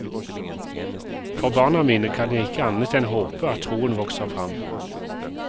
For barna mine kan jeg ikke annet enn håpe at troen vokser frem.